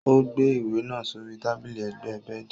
Ó gbé ìwé náà sórí tábìlì ẹ̀gbẹ́ bẹẹdi.